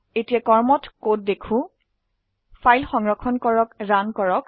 এতিয়া কৰ্মত কোড দেখো ফাইল সংৰক্ষণ কৰক ৰান কৰক